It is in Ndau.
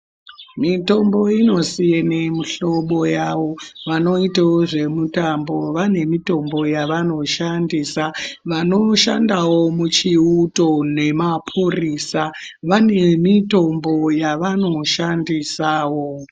Mitombo inosiyana mihlobo yayo. Vanoitawo zvemitambo vane mitombo yavanoshandisa. Vanoshandawo muchiuto nemapurisa vanemitombo yavanoshandisawo.